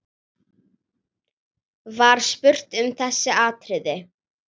Var spurt um þessi atriði.